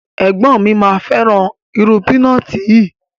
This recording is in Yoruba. Ẹgbọn mi ma feran iru pinọti yi